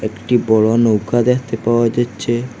একটি বড়ো নৌকা দেখতে পাওয়া যাচ্ছে।